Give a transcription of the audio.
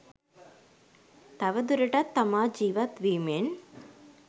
තවදුරටත් තමා ජීවත් වීමෙන්